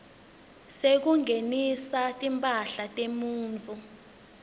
sekungenisa timphahla temuntfu